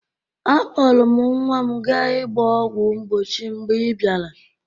Akpọrụ m nwa m ga ịgba ọgwọ mgbochi mgbe ị bịara.